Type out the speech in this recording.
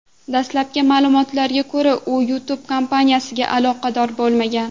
Dastlabki ma’lumotlarga ko‘ra, u YouTube kompaniyasiga aloqador bo‘lmagan.